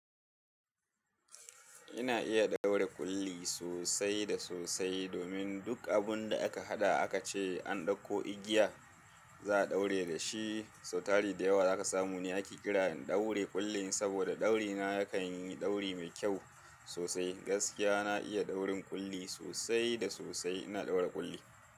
Ina iya ɗaura ƙulli sosai da sosai domin duk abun da aka haɗa aka ce an ɗauko igiya, za a ɗaure da shi. Sautari da yawa za ka samu ne ake kira ɗaure ƙullin saboda ɗauri na yakan yi ɗauri mai kyau sosai. Gaskiya na iya daurin ƙulli sosai da sosai. Ina ɗaura ƙulli.